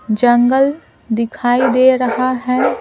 जंगल दिखाई दे रहा है ।